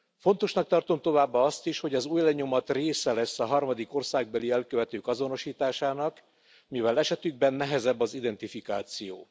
Fontosnak tartom továbbá azt is, hogy az ujjlenyomat része lesz a harmadik országbeli elkövetők azonosításának, mivel esetükben nehezebb az identifikáció.